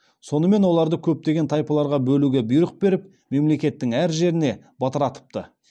сонымен оларды көптеген тайпаларға бөлуге бұйрық беріп мемлекеттің әр жеріне бытыратыпты